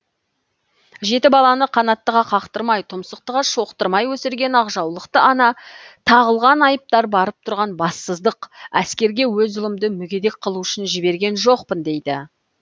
жеті баланы қанаттыға қақтырмай тұмсықтыға шоқтырмай өсірген ақжаулықты ана тағылған айыптар барып тұрған бассыздық әскерге өз ұлымды мүгедек қылу үшін жіберген жоқпын дейді